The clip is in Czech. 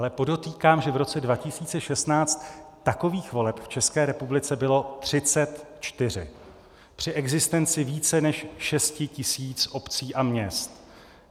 Ale podotýkám, že v roce 2016 takových voleb v České republice bylo 34 při existenci více než šesti tisíc obcí a měst.